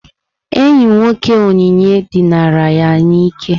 Enyi nwoke Onyinye dinara ya n'ike.